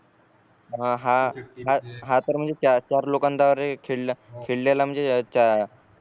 हा हा तर म्हणजे चार चार लोकांना खेळला खेळलेल्या म्हणजे चरित्र्यावर म्हणजे आधारित खेळ होता